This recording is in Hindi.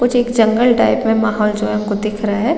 कुछ एक जंगल टाइप में महल जो हमको दिख रहा है।